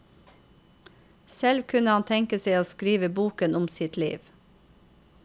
Selv kunne han tenke seg å skrive boken om sitt liv.